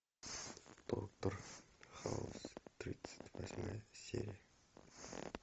доктор хаус тридцать восьмая серия